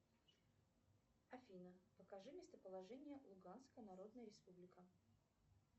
афина покажи местоположение луганская народная республика